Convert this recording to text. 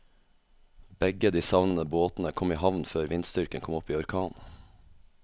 Begge de savnede båtene kom i havn før vindstyrken kom opp i orkan.